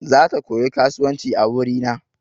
Zata koyi kasuwanci a wuri na.